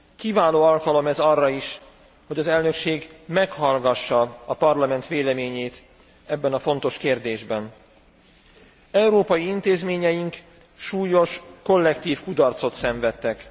Kiváló alkalom ez arra is, hogy az elnökség meghallgassa a Parlament véleményét ebben a fontos kérdésben. Európai intézményeink súlyos kollektív kudarcot szenvedtek.